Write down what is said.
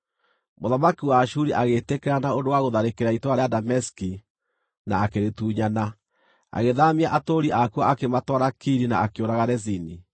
Mũthamaki wa Ashuri agĩĩtĩkĩra na ũndũ wa gũtharĩkĩra itũũra rĩa Dameski na akĩrĩtunyana. Agĩthaamia atũũri akuo akĩmatwara Kiri na akĩũraga Rezini.